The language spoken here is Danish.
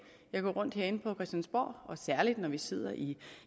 jeg går rundt herinde på christiansborg og særlig når vi sidder i